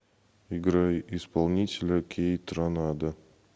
играй исполнителя кейтранада